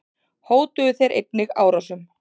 Hótuðu þeir einnig árásum.